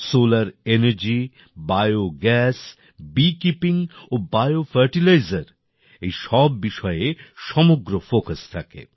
solar energy biogas bee keeping ও bio fertilisers এই সব বিষয়ে সমগ্র ফোকাস থাকে